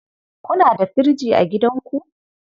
Kuna da firji a gidanku?